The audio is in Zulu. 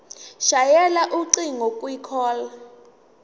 shayela ucingo kwicall